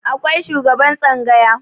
akwai shugaban tsangaya